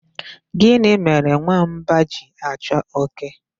Gịnị mere nwamba ji achọ oke?